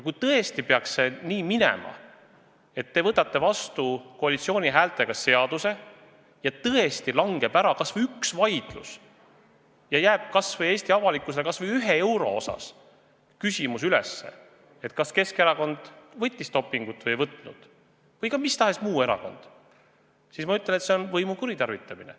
Kui tõesti peaks nii minema, et te võtate selle seaduse koalitsiooni häältega vastu ja tõesti langeb ära kas või üks vaidlus ja jääb Eesti avalikkusele kas või ühe euro osas küsimus üles, kas Keskerakond või mis tahes muu erakond kasutas dopingut või mitte, siis ma ütlen, et see on võimu kuritarvitamine.